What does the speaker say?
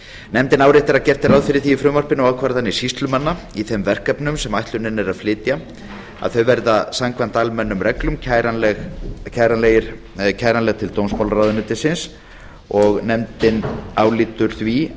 nefndin áréttar að gert er ráð fyrir því í frumvarpinu að ákvarðanir sýslumanna í þeim verkefnum sem ætlunin er að flytja verða samkvæmt almennum reglum kæranleg til dómsmálaráðuneytisins og nefndin álítur því